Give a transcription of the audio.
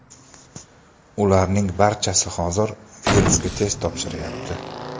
Ularning barchasi hozir virusga test topshiryapti.